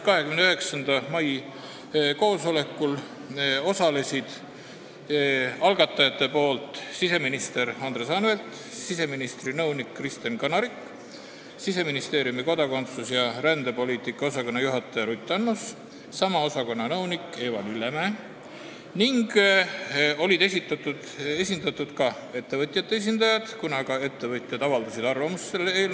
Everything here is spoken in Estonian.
29. mai koosolekul osalesid algatajate poolt siseminister Andres Anvelt, siseministri nõunik Kristen Kanarik, Siseministeeriumi kodakondsus- ja rändepoliitika osakonna juhataja Ruth Annus ning sama osakonna nõunik Eva Lillemäe ning olid esindatud ka ettevõtjate esindajad, kuna ka ettevõtjad avaldasid arvamust selle eelnõu kohta ...